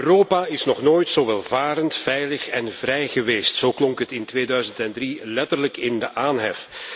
Europa is nog nooit zo welvarend, veilig en vrij geweest zo klonk het in 2003 letterlijk in de aanhef.